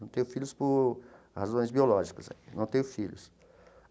Não tenho filhos por razões biológicas é, não tenho filhos.